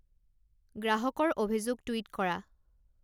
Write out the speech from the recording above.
গ্ৰাহকৰ অভিযোগ টুইট কৰা